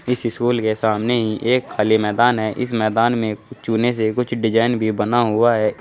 इस स्कूल के सामने ही एक खाली मैदान है इस मैदान में चुने से कुछ डिजाइन भी बना हुआ है।